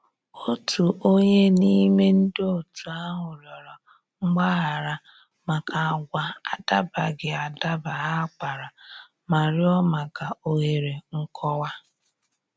Otu onye n'ime ndị otu ahụ rịọrọ mgbaghara maka agwa adabaghị adaba ha kpara ma rịọ maka òhèrè nkọwa.